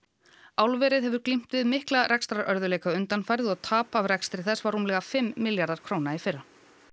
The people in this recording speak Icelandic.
álverið hefur glímt við undanfarið og tap af rekstri þess var rúmlega fimm milljarðar króna í fyrra